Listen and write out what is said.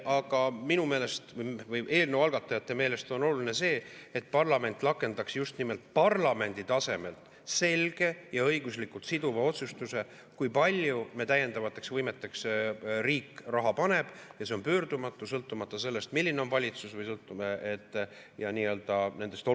Aga minu meelest, eelnõu algatajate meelest on oluline see, et parlament just nimelt parlamendi tasemel selge ja õiguslikult siduva otsuse, kui palju riik täiendavateks võimeteks raha paneb, ja see on pöördumatu, sõltumata sellest, milline on valitsus, ja sõltumata oludest.